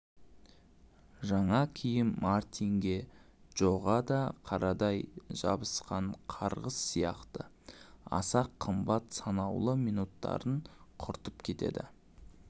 жаңа киім мартинге джоға да қарадай жабысқан қарғыс сияқты аса қымбат санаулы минуттарын құртып кетеді